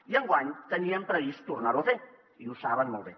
i enguany teníem previst tornar ho a fer i ho saben molt bé